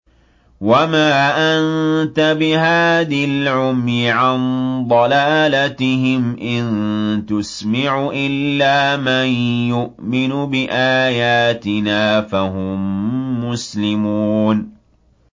وَمَا أَنتَ بِهَادِي الْعُمْيِ عَن ضَلَالَتِهِمْ ۖ إِن تُسْمِعُ إِلَّا مَن يُؤْمِنُ بِآيَاتِنَا فَهُم مُّسْلِمُونَ